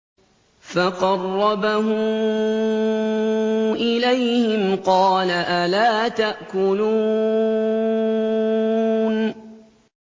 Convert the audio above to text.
فَقَرَّبَهُ إِلَيْهِمْ قَالَ أَلَا تَأْكُلُونَ